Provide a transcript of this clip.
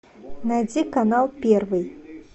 найди канал первый